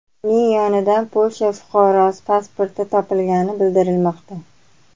Uning yonidan Polsha fuqarosi pasporti topilgani bildirilmoqda.